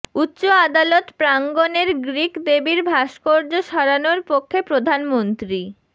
উচ্চ আদালত প্রাঙ্গণের গ্রিক দেবীর ভাস্কর্য সরানোর পক্ষে প্রধানমন্ত্রী